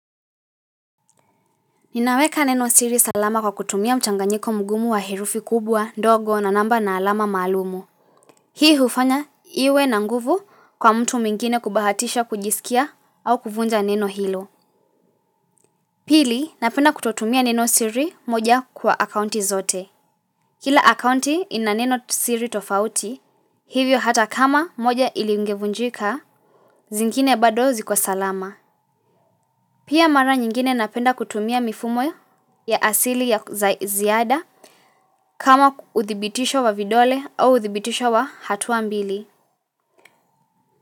Ninaweka neno siri salama kwa kutumia mchanganyiko mgumu wa herufi kubwa ndogo na namba na alama maalumu. Hii hufanya iwe na nguvu kwa mtu mwingine kubahatisha kujisikia au kuvunja neno hilo. Pili napenda kutotumia neno siri moja kwa akaunti zote. Kila akaunti ina neno siri tofauti hivyo hata kama moja ilingevunjika zingine bado ziko salama. Pia mara nyingine napenda kutumia mifumo ya asili ya ziada kama uthibitisho wa vidole au uthibitisho wa hatua mbili.